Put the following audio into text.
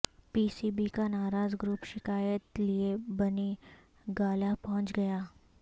پی C B کا ناراض group شکایت لئے بنی گالہ پہنچ گیا